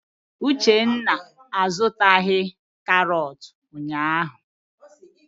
Mba, Uchenna a zụtaghị karọt ụnyaahụ.